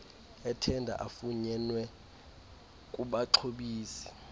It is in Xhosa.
ethenda afunyenwe kubaxhobisi